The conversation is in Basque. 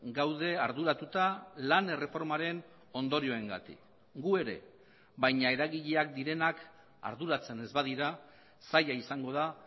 gaude arduratuta lan erreformaren ondorioengatik gu ere baina eragileak direnak arduratzen ez badira zaila izango da